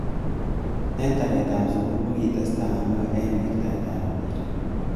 Eng taret ab sukul kokitestai ano ak wirtaet ab mpiret.